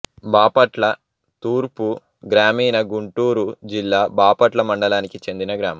బాపట్ల తూర్పు గ్రామీణ గుంటూరు జిల్లా బాపట్ల మండలానికి చెందిన గ్రామం